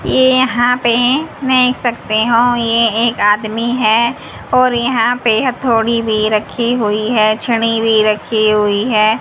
ये यहां पे देख सकते हो ये एक आदमी है और यहां पे हथोड़ी भी रखी हुई है छड़ी भी रखी हुई है।